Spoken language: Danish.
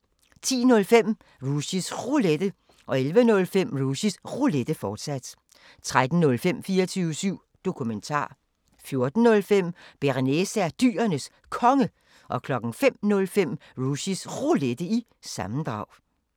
10:05: Rushys Roulette 11:05: Rushys Roulette, fortsat 13:05: 24syv Dokumentar 14:05: Bearnaise er Dyrenes Konge 05:05: Rushys Roulette – sammendrag